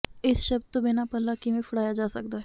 ਇਸ ਸ਼ਬਦ ਤੋਂ ਬਿਨਾਂ ਪੱਲਾ ਕਿਵੇਂ ਫੜਾਇਆ ਜਾ ਸਕਦਾ ਹੈ